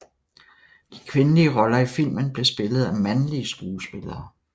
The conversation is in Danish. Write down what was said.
De kvindelige roller i filmen blev spillet af mandlige skuespillere